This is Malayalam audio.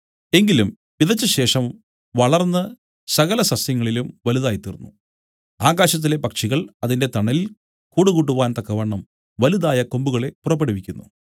എങ്കിലും വിതച്ചശേഷം വളർന്ന് സകല സസ്യങ്ങളിലും വലുതായിത്തീർന്നു ആകാശത്തിലെ പക്ഷികൾ അതിന്റെ തണലിൽ കൂടുകൂട്ടുവാൻ തക്കവണ്ണം വലുതായ കൊമ്പുകളെ പുറപ്പെടുവിക്കുന്നു